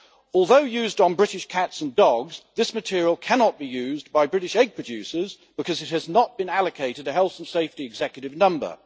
Although used on British cats and dogs, this material cannot be used by British egg producers because it has not been allocated a Health and Safety Executive number.